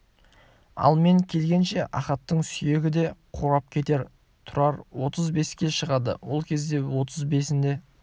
ал мен келгенше ахаттың сүйегі де қурап кетер тұрар отыз беске шығады ол кезде отыз бесінде